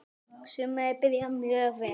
Sumarið byrjaði mjög vel.